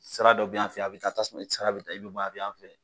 Sira dɔ be yan fɛ a be taa tasuma i sira be ta i be bɔ a be yan fɛ